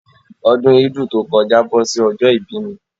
Ọdún ídù to kọjá bọ́ sí ọjọ́ ìbí mi